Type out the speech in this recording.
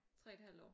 3 et halvt år